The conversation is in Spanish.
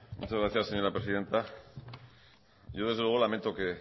muchas gracias señora presidenta yo desde luego lamento que